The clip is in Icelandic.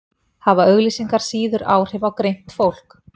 hafa auglýsingar síður áhrif á greint fólk